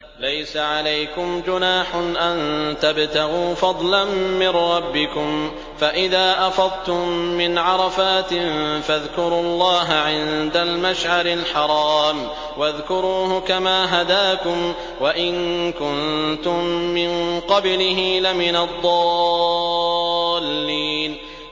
لَيْسَ عَلَيْكُمْ جُنَاحٌ أَن تَبْتَغُوا فَضْلًا مِّن رَّبِّكُمْ ۚ فَإِذَا أَفَضْتُم مِّنْ عَرَفَاتٍ فَاذْكُرُوا اللَّهَ عِندَ الْمَشْعَرِ الْحَرَامِ ۖ وَاذْكُرُوهُ كَمَا هَدَاكُمْ وَإِن كُنتُم مِّن قَبْلِهِ لَمِنَ الضَّالِّينَ